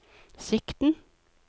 sikten